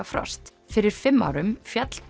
frost fyrir fimm árum féll